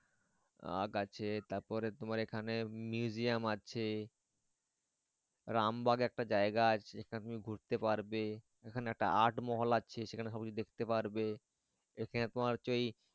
আগ আছে তারপরে তোমার Museum আছে রামবাগ একটা জায়গা আছে সেখানে তুমি ঘুরতে পারবে সেখানে একটা Art মহল আছে সেখানে সব কিছু দেখতে পারবে ওখানে তোমার হচ্ছে ওই।